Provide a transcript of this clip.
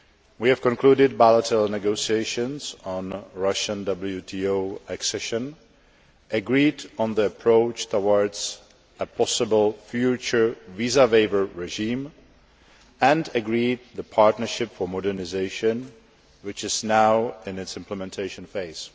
We have concluded bilateral negotiations on Russian WTO accession, agreed on the approach towards a possible future visa waiver regime, and agreed the Partnership for Modernisation, which is now in its implementation phase.